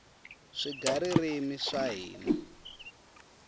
swigaririmi swa hina